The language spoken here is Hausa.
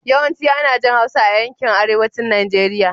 Yawanci ana jin Hausa a yankin arewacin Najeriya.